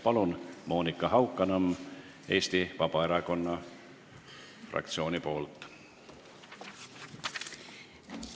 Palun, Monika Haukanõmm Eesti Vabaerakonna fraktsiooni nimel!